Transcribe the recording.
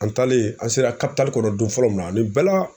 An taalen an sera kɔnɔ don fɔlɔ min na nin bɛɛ la